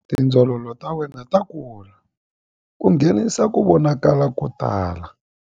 Tindzololo ta wena ta kula ku nghenisa ku vonakala ko tala.